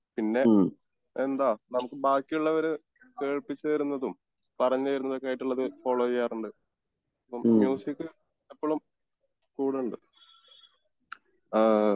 പിന്നെ എന്താ നമുക്ക് ബാക്കി ഉള്ളവര് കേൾപ്പിച്ച് തരുന്നതും പറഞ്ഞു തരുന്നതും ഒക്കെയായിട്ടുള്ളത് ഫോളോ ചെയ്യാറുണ്ട് മ്യുസിക് ഇപ്പോഴും കൂടെണ്ട് ആഹ്മ്